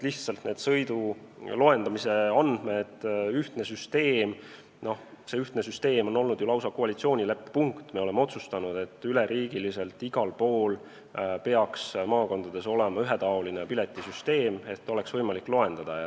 Lihtsalt see ühtne sõiduloendamise süsteem oli ju lausa koalitsioonileppe punkt – me oleme otsustanud, et üle riigi peaks igal pool maakondades olema ühetaoline piletisüsteem, et oleks võimalik andmeid loendada.